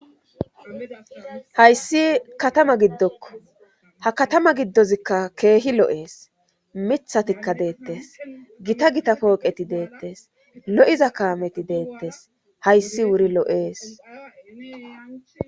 Hayssi katama giddokko ha katama giddozikka keehi lo7ees mithatikka deettes gita gita pooqeti deettes lo7iza kaameti deettes hayssi wuri lo7ees